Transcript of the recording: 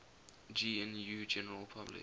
gnu general public